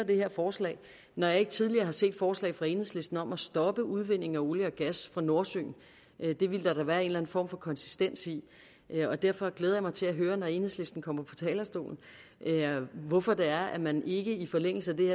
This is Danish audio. det her forslag når jeg ikke tidligere har set forslag fra enhedslisten om at stoppe udvindingen af olie og gas fra nordsøen det ville der da være en eller en form for konsistens i og derfor glæder jeg mig til at høre når enhedslisten kommer på talerstolen hvorfor det er at man ikke i forlængelse af det